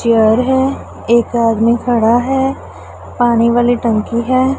Chair है एक आदमी खड़ा है पानी वाली टंकी है।